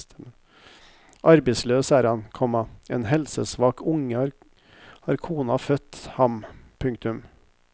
Arbeidsløs er han, komma en helsesvak unge har kona født ham. punktum